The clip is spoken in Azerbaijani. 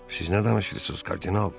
Siz nə danışırsınız, kardinal?